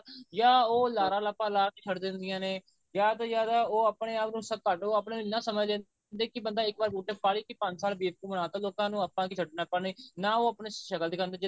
ਜਾਂ ਉਹ ਲਾਰਾ ਲੱਪਾ ਲਾ ਕੇ ਛੱਡ ਦਿੰਦਿਆ ਨੇ ਜਿਆਦਾ ਤੋਂ ਜਿਆਦਾ ਉਹ ਆਪਣੇ ਇੰਨਾ ਸਮਝ ਲੈਂਦੀ ਵੀ ਕਿ ਬੰਦਾ ਇੱਕ ਵਾਰ vote ਪਾ ਲੇਏ ਕਿ ਪੰਜ ਸਾਲ ਬੇਵਕੂਫ ਬਣਾ ਤਾਂ ਲੋਕਾਂ ਨੂੰ ਆਪਾਂ ਕਿ ਛੱਡਣਾ ਨਾ ਉਹ ਆਪਣੀ ਸ਼ਕਲ ਦਿਖਾਂਦੇ